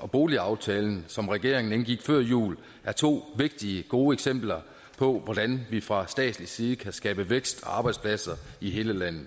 og boligaftalen som regeringen indgik før jul er to vigtige og gode eksempler på hvordan vi fra statslig side kan skabe vækst og arbejdspladser i hele landet